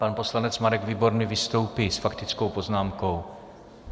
Pan poslanec Marek Výborný vystoupí s faktickou poznámkou.